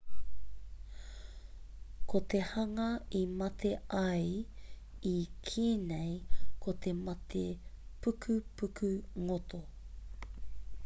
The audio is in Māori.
ko te hanga i mate ai i kī nei ko te mate pukupuku ngoto